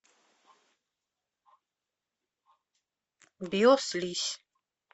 биослизь